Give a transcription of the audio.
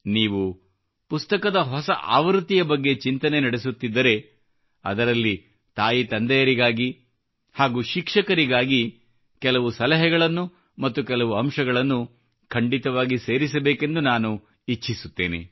ನೀವು ಪುಸ್ತಕದ ಹೊಸ ಆವೃತ್ತಿಯ ಬಗ್ಗೆ ಚಿಂತನೆ ನಡೆಸುತ್ತಿದ್ದರೆ ಅದರಲ್ಲಿ ತಾಯಿತಂದೆಯರಿಗಾಗಿ ಹಾಗೂ ಶಿಕ್ಷಕರಿಗಾಗಿ ಕೆಲವು ಸಲಹೆಗಳನ್ನು ಮತ್ತು ಕೆಲವು ಅಂಶಗಳನ್ನು ಖಂಡಿತವಾಗಿಯೂ ಸೇರಿಸಬೇಕೆಂದು ನಾನು ಇಚ್ಛಿಸುತ್ತೇನೆ